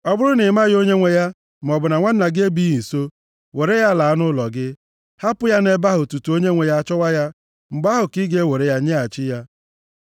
Ọ bụrụ na ị maghị onye nwe ya, maọbụ na nwanna gị ebighị nso, were ya laa nʼụlọ gị, hapụ ya nʼebe ahụ tutu onye nwe ya achọwa ya, mgbe ahụ ka ị ga-ewere ya nyeghachi ya.